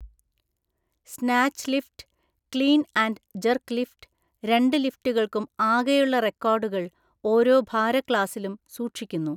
Snatch lift, clean and jerk lift, രണ്ട് ലിഫ്റ്റുകൾക്കും ആകെയുള്ള റെക്കോർഡുകൾ ഓരോ ഭാരക്ലാസിലും സൂക്ഷിക്കുന്നു.